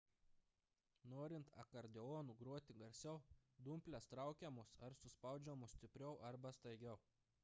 norint akordeonu groti garsiau dumplės traukiamos ar suspaudžiamos stipriau arba staigiau